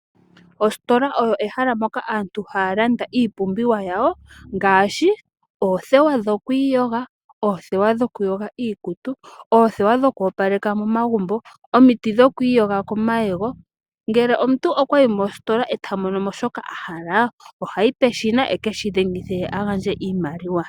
Ositola oyo ehala moka aantu haya landa iipumbiwa yawo ngaashi oothewa dhokwiiyoga, oothewa dhokuyoga iikutu, oothewa dhokwoopaleka momagumbo nomiti dhokwiiyoga komayego. Ngele omuntu okwayi mositola eta mono mo shoka ahala ohayi peshina e keshi dhengithe ye a gandje iimaliwa.